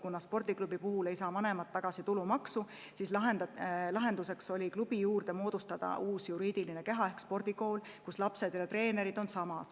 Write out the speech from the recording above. Kuna spordiklubi puhul ei saa vanemad tulumaksu tagasi, siis lahenduseks oli klubi juurde moodustada uus juriidiline keha ehk spordikool, kus lapsed ja treenerid on samad.